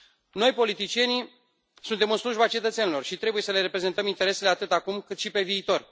Noi, politicienii, suntem în slujba cetățenilor și trebuie să le reprezentăm interesele atât acum, cât și pe viitor.